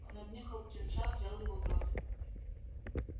он обнюхал птенца взял его в рот